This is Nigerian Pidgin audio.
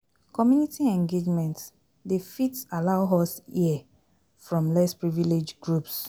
Community engagement dey fit allow us here from less privileged groups